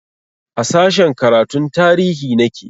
A sashen karatun tarihi nake